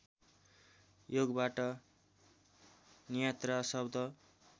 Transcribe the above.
योगबाट नियात्रा शब्द